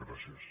gràcies